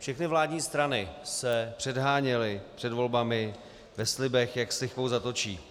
Všechny vládní strany se předháněly před volbami ve slibech, jak s lichvou zatočí.